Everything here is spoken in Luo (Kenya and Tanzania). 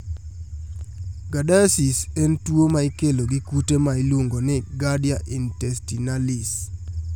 Giardiasis en tuwo ma ikelo gi kute ma iluongo ni Giardia intestinalis